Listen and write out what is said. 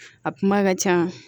A kuma ka ca